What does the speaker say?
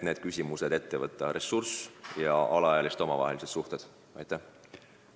Need küsimused – ressursid ja alaealiste omavahelised suhted – tuleb käsile võtta.